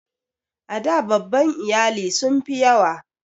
A da babban iyali sun fi yawa.